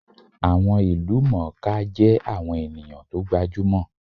Àwọn ìlúmọọká jẹ́ àwọn ènìyàn tó gbajúmò